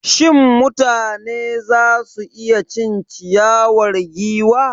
Shin mutane za su iya cin ciyawar giwa?